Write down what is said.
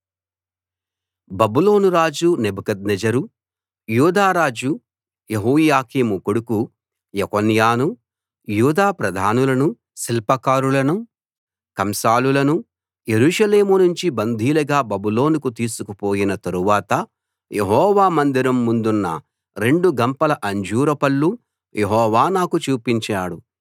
బబులోను రాజు నెబుకద్నెజరు యూదా రాజు యెహోయాకీము కొడుకు యెకోన్యాను యూదా ప్రధానులను శిల్పకారులను కంసాలులను యెరూషలేము నుంచి బందీలుగా బబులోనుకు తీసుకుపోయిన తరువాత యెహోవా మందిరం ముందున్న రెండు గంపల అంజూరు పళ్ళు యెహోవా నాకు చూపించాడు